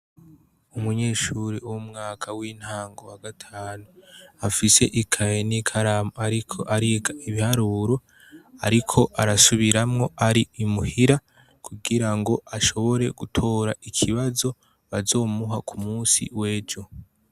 Umunyeshure wo mu mwaka w'intango wa gatanu, afise ikaye n'ikaramu ariko ariga ibiharuro, ariko arasubiramwo ari i muhira, kugira ngo ashobore gutora ikibazo bazomuha ku musi w'ejo.